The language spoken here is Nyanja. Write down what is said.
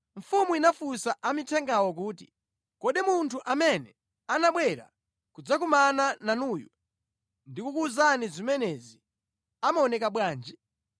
Mfumu inafunsa amithengawo kuti, “Kodi munthu amene anabwera kudzakumana nanuyo ndi kukuwuzani zimenezi amaoneka bwanji?”